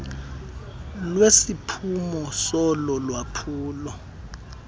lesiphumo solo lwaphulo